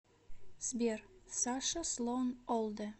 сбер саша слоан олдер